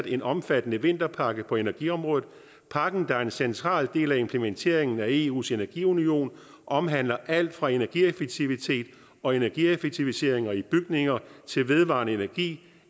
en omfattende vinterpakke på energiområdet pakken er en central del af implementeringen af eus energiunion og omhandler alt fra energieffektivitet og energieffektiviseringer i bygninger til vedvarende energi